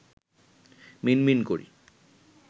মিনমিন করি